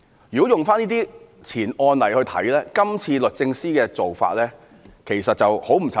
如果從這些案例來看，這次律政司的做法其實很不尋常。